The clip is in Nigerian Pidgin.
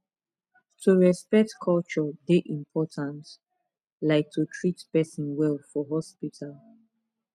to respect culture dey important like to treat person well for hospital